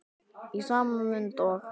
Í sama mund og